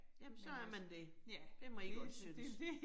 Jamen så er man det. Det må I godt synes